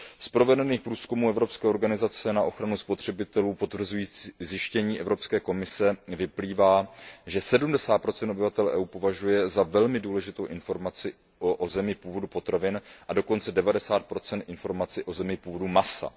Z provedených průzkumů Evropské organizace na ochranu spotřebitelů potvrzujících zjištění Evropské komise vyplývá, že 70 obyvatel EU považuje za velmi důležitou informaci o zemi původu potravin a dokonce 90 informaci o zemi původu masa.